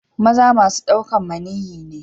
Maza masun daukan maniyyi ne.